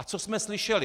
A co jsme slyšeli?